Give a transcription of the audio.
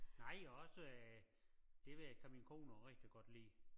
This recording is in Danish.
Nej og og også øh det ved jeg kan min kone også rigtig godt kan lide